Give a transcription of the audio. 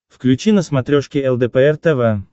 включи на смотрешке лдпр тв